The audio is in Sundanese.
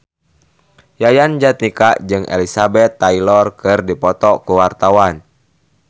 Yayan Jatnika jeung Elizabeth Taylor keur dipoto ku wartawan